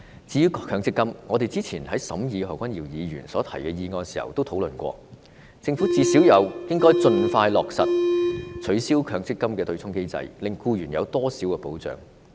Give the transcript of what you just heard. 至於強積金，我們早前討論何君堯議員提出的議案時已曾討論，政府最低限度應盡快落實取消強積金對沖機制，令僱員有多點保障。